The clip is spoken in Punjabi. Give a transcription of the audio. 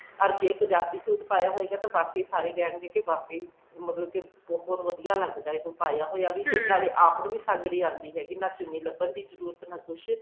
ਅੱਗੇ ਪੰਜਾਬੀ suit ਪਾਇਆ ਹੋਏਗਾ ਤਾਂ ਅੱਗੇ ਵਾਕਏ ਹੀ ਸਾਰੇ ਕਹਿਣਗੇ ਕਿ ਵਾਕਏ ਹੀ ਮਤਲਬ ਕਿ ਬਹੁਤ ਵਧੀਆ ਲੱਗਦਾ ਉਹ ਪਾਇਆ ਹੋਇਆ ਵੀ ਤੇ ਨਾਲੇ ਆਪਾਂ ਨੂੰ ਵੀ ਸੰਗ ਨੀ ਆਉਂਦੀ ਹੈਗੀ ਨਾ ਚੁੰਨੀ ਲੱਬਣ ਦੀ ਜਰੂਰਤ ਨਾ ਕੁੱਛ